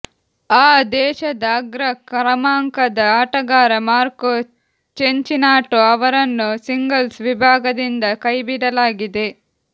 ಆ ದೇಶದ ಅಗ್ರ ಕ್ರಮಾಂಕದ ಆಟಗಾರ ಮಾರ್ಕೊ ಚೆಂಚಿನಾಟೊ ಅವರನ್ನು ಸಿಂಗಲ್ಸ್ ವಿಭಾಗದಿಂದ ಕೈಬಿಡಲಾಗಿದೆ